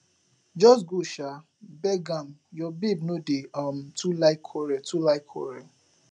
just go um beg am your babe no dey um too like quarrel too like quarrel